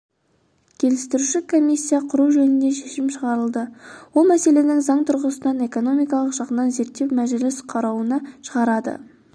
келістіруші комиссия құру жөнінде шешім шығарылды ол мәселені заң тұрғысынан экономикалық жағынан зерттеп мәжіліс қарауына шығарады